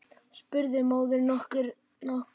spurði móðirin nokkuð annars hugar.